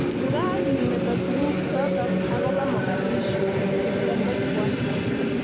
Ngaa kiimeto tugul chotok ak koba Mogadishu kiplembekwa .